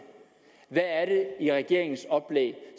hvad er det i regeringens oplæg